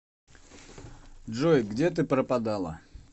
джой где ты пропадала